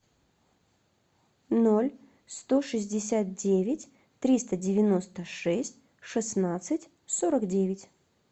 ноль сто шестьдесят девять триста девяносто шесть шестнадцать сорок девять